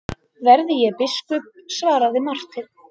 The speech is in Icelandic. Verði ég biskup, svaraði Marteinn.